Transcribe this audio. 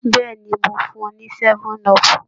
Bẹ́ẹ̀ ni, mo fún un ní 7up